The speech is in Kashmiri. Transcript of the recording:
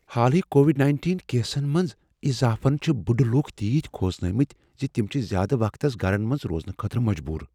حالٕے کووڈ نٔینِٹین کیسن منٛز اضافن چھ بُڈٕ لوٗکھ تیٖتۍ کھوژنٲومٕتۍ ز تم چھ زیادٕ وقتس گرن منز روزنہٕ خٲطرٕ مجبور